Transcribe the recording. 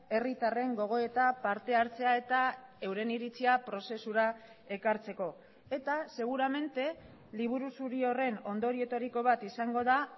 herritarren gogo eta partehartzea eta euren iritzia prozesura ekartzeko eta seguramente liburu zuri horren ondorioetariko bat izango da